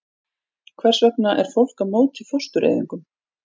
Hvers vegna er fólk á móti fóstureyðingum?